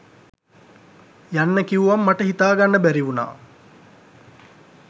යන්න කිව්වම මට හිතාගන්න බැරි වුණා.